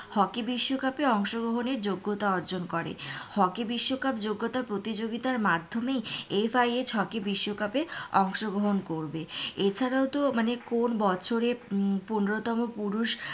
hockey বিশকাপে অংশ গ্রহণে যোগত্যা অর্জন করে হকি বিশ্বকাপ যোগ্যতা প্রতিযোগিতার মাধ্যমেই এফ আই এইচ হকি বিশ্বকাপে অংশ গ্রহণ করবে এছাড়া তো মানে কোন বছরে পনেরোতম পুরুষ,